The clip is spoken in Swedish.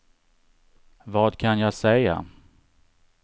vad kan jag säga